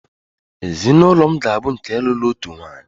ezinụlọ m ga-abụ nke lụrụ otu nwanyị